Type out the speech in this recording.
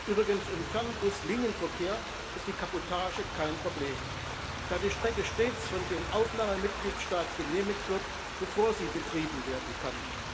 Übrigens Im Fernbus Linienverkehr ist die Kabotage kein Problem, da die Strecke stets von dem Aufnahmemitgliedstaat genehmigt wird, bevor sie betrieben werden kann.